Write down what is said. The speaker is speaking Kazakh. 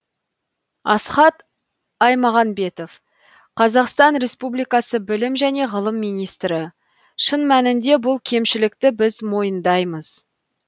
асхат аймағамбетов қазақстан республикасы білім және ғылым министрі шын мәнінде бұл кемшілікті біз мойындаймыз